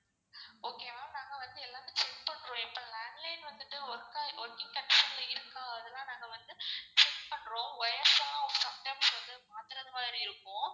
okay ma'am நாங்க வந்து எல்லாமே check பண்றோம். landline வந்துட்டு work ஆய் working condition ல இருக்கா அதுலான் நாங்க வந்து check பண்றோம். wires எல்லாம் sometimes வந்து மாத்துறதுமாறி இருக்கும்.